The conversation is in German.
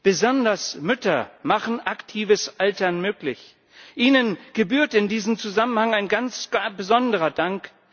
Besonders Mütter machen aktives Altern möglich, ihnen gebührt in diesem Zusammenhang ein ganz besonderer Dank.